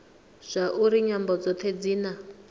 zwauri nyambo dzothe dzi na